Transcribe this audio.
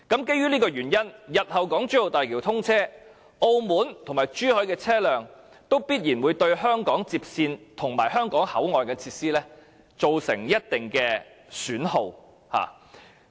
基於上述原因，日後當港珠澳大橋通車後，澳門和珠海的車輛必然會對香港接線及香港口岸設施造成一定損耗。